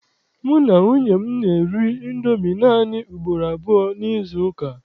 Mụ na nwunye m na-eri Indomi naanị ugboro abụọ n'izuụka.